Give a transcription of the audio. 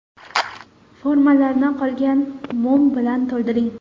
Formalarni qolgan mum bilan to‘ldiring.